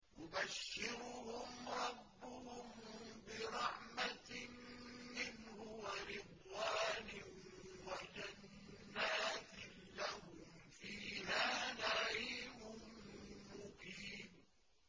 يُبَشِّرُهُمْ رَبُّهُم بِرَحْمَةٍ مِّنْهُ وَرِضْوَانٍ وَجَنَّاتٍ لَّهُمْ فِيهَا نَعِيمٌ مُّقِيمٌ